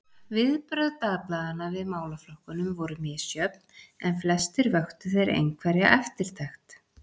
Viðbrögð dagblaðanna við málaflokkunum voru misjöfn, en flestir vöktu þeir einhverja eftirtekt.